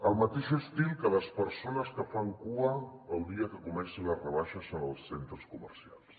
al mateix estil que les persones que fan cua el dia que comencen les rebaixes en els centres comercials